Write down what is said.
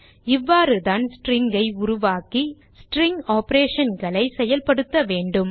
இவ்வாறுதான் ஸ்ட்ரிங் உருவாக்கி ஸ்ட்ரிங் operationகளை செயல்படுத்த வேண்டும்